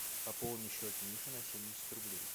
пополни счет миши на семьдесят рублей